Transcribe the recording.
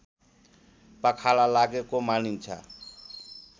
पखाला लागेको मानिन्छ